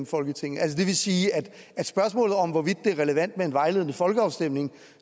folketinget det vil sige at spørgsmålet om hvorvidt det er relevant med en vejledende folkeafstemning